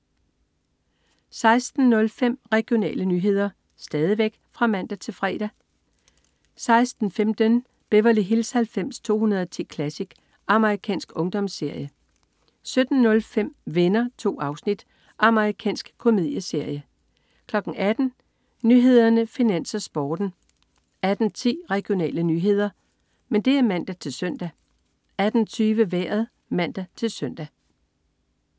16.05 Regionale nyheder (man-fre) 16.15 Beverly Hills 90210 Classic. Amerikansk ungdomsserie (man-fre) 17.05 Venner. 2 afsnit. Amerikansk komedieserie (man-fre) 18.00 Nyhederne, Finans, Sporten (man-fre) 18.10 Regionale nyheder (man-søn) 18.20 Vejret (man-søn)